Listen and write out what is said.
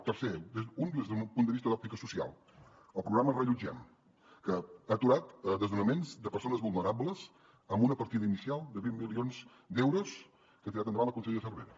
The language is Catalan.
tercer des d’un punt de vista d’òptica social el programa reallotgem que ha aturat desnonaments de persones vulnerables amb una partida inicial de vint milions d’euros que ha tirat endavant la consellera cervera